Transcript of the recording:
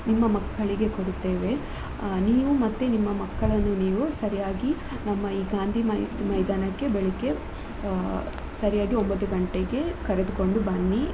ನಿಮ್ಮ ಮಕ್ಕಳಿಗೆ ಕೊಡುತ್ತೇವೆ, ಅ ನೀವು ಮತ್ತೆ ನಿಮ್ಮ ಮಕ್ಕಳನ್ನು ನೀವು ಸರಿಯಾಗಿ ನಮ್ಮ ಈ ಗಾಂಧಿಮೈದಾನಕ್ಕೆ ಬೆಳಿಗ್ಗೆ ಆ ಸರಿಯಾಗಿ ಒಂಭತ್ತು ಗಂಟೆಗೆ ಕರೆದುಕೊಂಡು ಬನ್ನಿ.